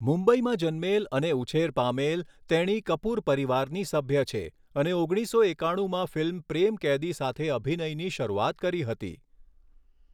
મુંબઇમાં જન્મેલ અને ઉછેર પામેલ, તેણી કપૂર પરિવારની સભ્ય છે અને ઓગણીસો એકાણુમાં ફિલ્મ 'પ્રેમ કૈદી' સાથે અભિનયની શરૂઆત કરી હતી.